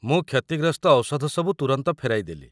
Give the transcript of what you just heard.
ମୁଁ କ୍ଷତିଗ୍ରସ୍ତ ଔଷଧ ସବୁ ତୁରନ୍ତ ଫେରାଇ ଦେଲି।